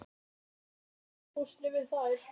Nú tók ég ástfóstri við þær.